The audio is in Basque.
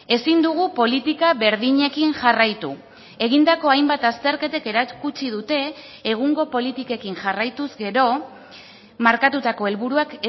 ezin dugu politika berdinekin jarraitu egindako hainbat azterketek erakutsi dute egungo politikekin jarraituz gero markatutako helburuak